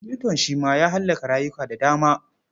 Yuton shi ma ya hallaka rayuka da dama.